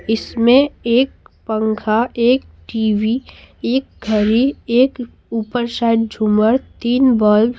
इसमें एक पंखा एक टी_वी एक घड़ी एक ऊपर शायद झूमर तीन बल्ब --